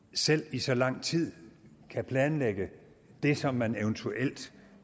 selv i så lang tid kan planlægge det som man eventuelt